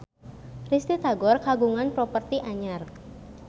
Risty Tagor kagungan properti anyar